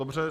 Dobře.